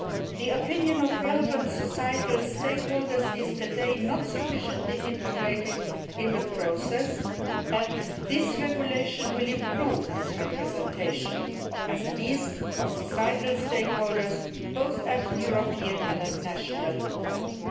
The opinion of relevant societal stakeholders is today not sufficiently integrated in the process, and this regulation will improve this representation of SMEs and societal stakeholders at both European and national level.